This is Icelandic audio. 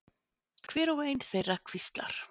Hver og ein þeirra hvíslar.